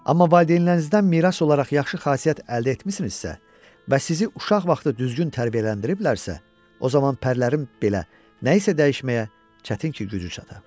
Amma valideynlərinizdən miras olaraq yaxşı xasiyyət əldə etmisinizsə və sizi uşaq vaxtı düzgün tərbiyələndiriblərəsə, o zaman pərilərin belə nəyisə dəyişməyə çətin ki, gücü çata.